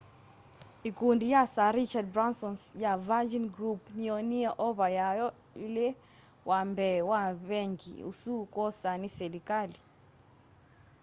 ikundi ya sir richard bransons ya virgin group niyoonie ova yayo iilewambee wa vengi usu kwoswa ni silikali